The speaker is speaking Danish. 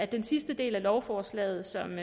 den sidste del af lovforslaget som